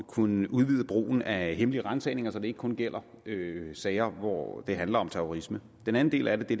kunne udvide brugen af hemmelige ransagninger så det ikke kun gælder sager hvor det handler om terrorisme den anden del af det